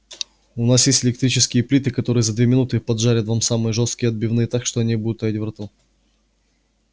у нас есть электрические плиты которые за две минуты поджарят вам самые жёсткие отбивные так что они будут таять во рту